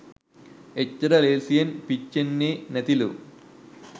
එච්චර ලේසියෙන් පිච්චෙන්නෙ නැතිලු.